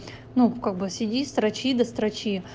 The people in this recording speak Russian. ну как бы сиди строчи да строчи